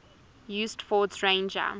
used ford's ranger